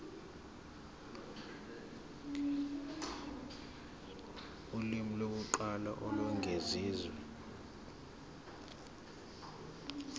ulimi lokuqala olwengeziwe